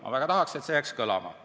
" Ma väga tahan, et see jääks kõlama.